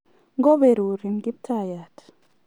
ngoberurin kiptaiyat